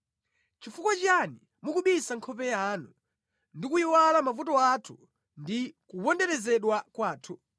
Nʼchifukwa chiyani mukubisa nkhope yanu, ndi kuyiwala mavuto athu ndi kuponderezedwa kwathu?